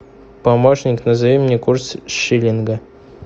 помощник назови мне курс шиллинга